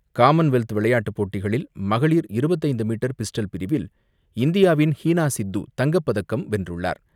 Commonwealth விளையாட்டுப் போட்டிகளில், மகளிர் இருபத்து ஐந்து மீட்டர் பிஸ்டல் பிரிவில் இந்தியாவின் ஹீனா சித்து தங்கப்பதக்கம் வென்றுள்ளார்.